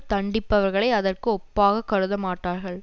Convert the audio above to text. தண்டிப்பவர்களை அதற்கு ஒப்பாகக் கருத மாட்டார்கள்